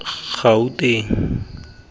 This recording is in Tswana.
gauteng